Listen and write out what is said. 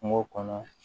Kungo kɔnɔ